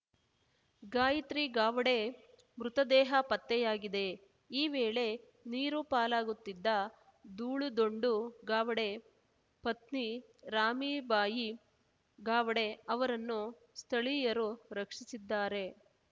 ಗಾಯತ್ರಿ ಗಾವಡೆ ಮೃತದೇಹ ಪತ್ತೆಯಾಗಿದೆ ಈ ವೇಳೆ ನೀರು ಪಾಲಾಗುತ್ತಿದ್ದ ದೂಳು ದೊಂಡು ಗಾವಡೆ ಪತ್ನಿ ರಾಮೀಬಾಯಿ ಗಾವಡೆ ಅವರನ್ನು ಸ್ಥಳೀಯರು ರಕ್ಷಿಸಿದ್ದಾರೆ